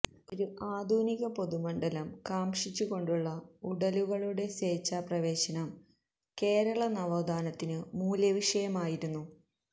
ഒരു ആധുനിക പൊതുമണ്ഡലം കാംക്ഷിച്ചുകൊണ്ടുള്ള ഉടലുകളുടെ സേച്ഛാപ്രവേശനം കേരള നവോത്ഥാനത്തിലെ മൂല്യവിഷയമായിരുന്നു